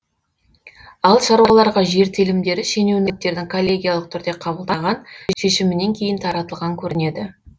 ал шаруаларға жер телімдері шенеуніктердің коллегиялық түрде қабылдаған шешімінен кейін таратылған көрінеді